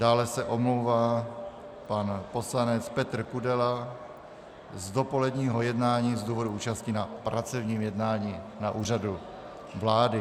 Dále se omlouvá pan poslanec Petr Kudela z dopoledního jednání z důvodu účasti na pracovním jednání na Úřadu vlády.